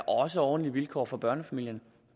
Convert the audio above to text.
også ordentlige vilkår for børnefamilierne